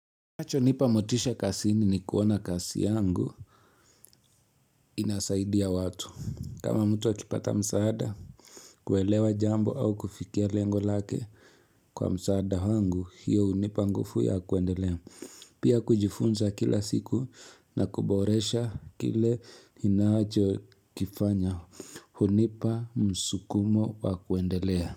Kinacho nipa motisha kasini ni kuona kasi yangu inasaidia watu kama mtu akipata msaada kuwelewa jambo au kufikia lengo lake kwa msaada wangu hiyo unipa ngufu ya kuendelea pia kujifunza kila siku na kuboresha kile ninacho kifanya hunipa msukumo wa kuendelea.